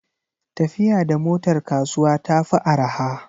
Tafiya da motar kasuwa ta fi araha.